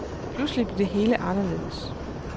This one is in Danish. Pludselig blev det hele anderledes.